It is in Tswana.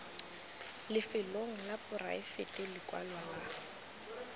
lefelong la poraefete lekwalo la